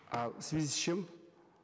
а в связи с чем